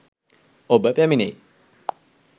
ඔබ පැමිණෙයි.